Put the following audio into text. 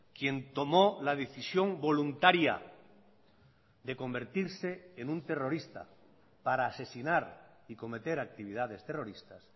quien tomó la decisión voluntaria de convertirse en un terrorista para asesinar y cometer actividades terroristas